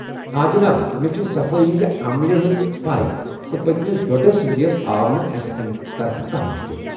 آ جناب، مےٚ چھےٚ صفٲیی ہٕنٛزِ عملہِ ہنز پیہ تہٕ پٔتِمِس ڈۄڈس ؤرِیس آو نہٕ اسہِ امہِ طرفہٕ کانٛہہ مُشکل ۔